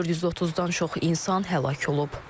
430-dan çox insan həlak olub.